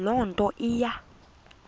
loo nto iya